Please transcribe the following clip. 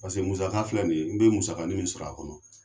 Paseke musaka filɛ nin ye n bɛ musakanin min sɔrɔ a kɔnɔ.